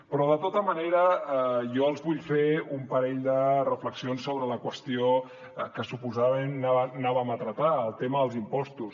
però de tota manera jo els vull fer un parell de reflexions sobre la qüestió que suposadament anàvem a tractar el tema dels impostos